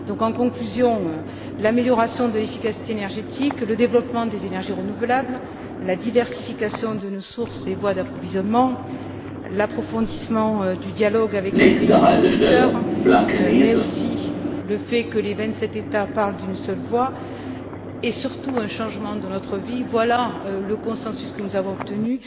En conclusion, l'amélioration de l'efficacité énergétique, le développement des énergies renouvelables, la diversification de nos sources et voies d'approvisionnement, l'approfondissement du dialogue avec les pays producteurs, mais aussi le fait que les vingt sept États parlent d'une seule voix et, surtout, un changement de notre vie, voilà le consensus que nous avons obtenu.